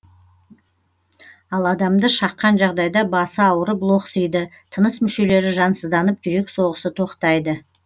ал адамды шаққан жағдайда басы ауырып лоқсиды тыныс мүшелері жансызданып жүрек соғысы тоқтайды